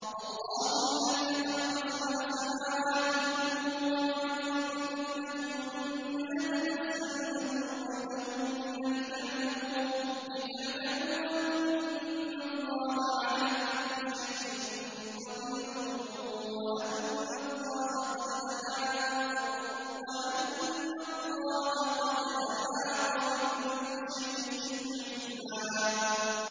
اللَّهُ الَّذِي خَلَقَ سَبْعَ سَمَاوَاتٍ وَمِنَ الْأَرْضِ مِثْلَهُنَّ يَتَنَزَّلُ الْأَمْرُ بَيْنَهُنَّ لِتَعْلَمُوا أَنَّ اللَّهَ عَلَىٰ كُلِّ شَيْءٍ قَدِيرٌ وَأَنَّ اللَّهَ قَدْ أَحَاطَ بِكُلِّ شَيْءٍ عِلْمًا